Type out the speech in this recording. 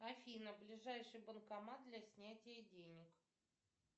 афина ближайший банкомат для снятия денег